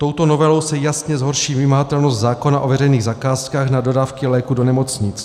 Touto novelou se jasně zhorší vymahatelnost zákona o veřejných zakázkách na dodávky léků do nemocnic.